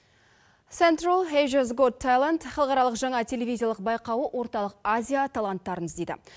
сентрал азиас гот талент халықаралық жаңа телевизиялық байқауы орталық азия таланттарын іздейді